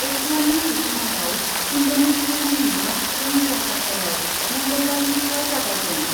एसियाननि जथुमायाव इन्डनेसियानि राजथावनि जाकार्तायाव मंगलबारनिफ्राय जागायगोन ।